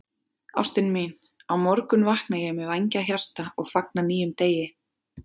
Ástin mín, á morgun vakna ég með vængjað hjarta og fagna nýjum degi.